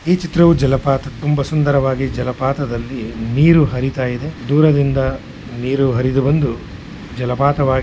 ಈ ಚಿತ್ರವು ಜಲಪಾತದ್ದು ತುಂಬಾ ಸುಂದರವಾಗಿ ಜಲಪಾತದಲ್ಲಿ ನೀರು ಹರಿತಾ ಇದೆ ದೂರದಿಂದ ನೀರು ಹರಿದು ಬಂದು ಜಲಪಾತವಾಗಿ --